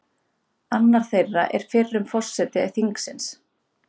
Annar þeirra er fyrrum forseti þingsins